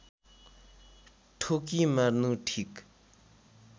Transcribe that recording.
ठोकी मार्नु ठिक